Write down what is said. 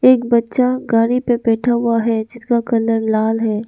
एक बच्चा गाड़ी पे बैठा हुआ है जिसका कलर लाल है।